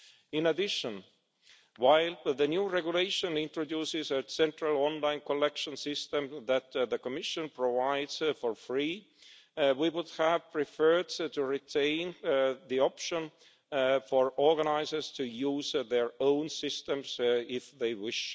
In addition, while the new regulation introduces a central online collection system that the Commission provides for free, we would have preferred to retain the option for organisers to use their own systems if they wish.